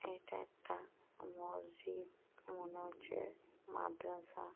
এটা একটা মসজিদ। মনে হচ্ছে মাদ্রাসা।